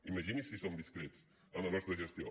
imagini’s si som discrets en la nostra gestió